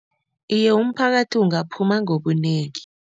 Iye, umphakathi ungaphuma ngobunengi.